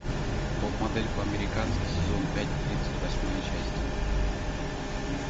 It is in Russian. топ модель по американски сезон пять тридцать восьмая часть